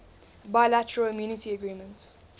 bilateral immunity agreement